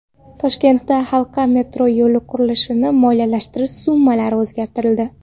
Toshkentda halqa metro yo‘li qurilishini moliyalashtirish summalari o‘zgartirildi.